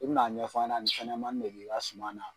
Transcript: I bina ɲɛf'an ɲɛna ni fɛnɲɛnamani de i bi ka suman na